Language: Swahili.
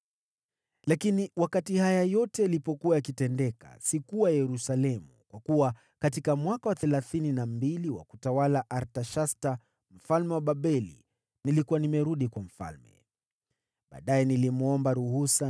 Lakini wakati haya yote yalipokuwa yakitendeka, sikuwa Yerusalemu, kwa kuwa katika mwaka wa thelathini na mbili wa utawala wa Artashasta mfalme wa Babeli nilikuwa nimerudi kwa mfalme. Baadaye nilimwomba ruhusa,